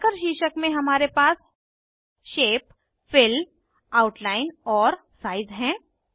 marker शीर्षक में हमारे पास शेप फिल आउटलाइन और साइज हैं